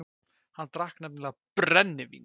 Hann drakk nefnilega BRENNIVÍN.